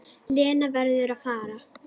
Lena verður að fara.